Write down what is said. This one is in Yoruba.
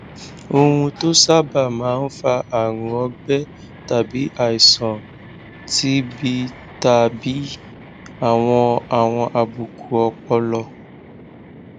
ohun tó sábà máa ń fa àrùn ọgbẹ tàbí àìsàn tbtàbí àwọn àwọn àbùkù ọpọlọ